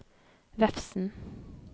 Vefsn